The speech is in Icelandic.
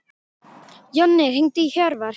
Jonni, hringdu í Hjörvar.